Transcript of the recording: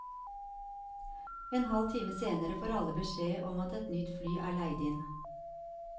En halv time senere får alle beskjed om at et nytt fly er leid inn.